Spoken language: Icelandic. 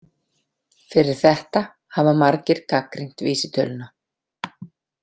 Fyrir þetta hafa margir gagnrýnt vísitöluna.